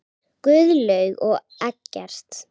Guðlaug og Eggert.